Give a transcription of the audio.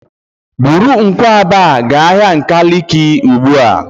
Buru nkwụaba ga ahia Nkaliki ugbua!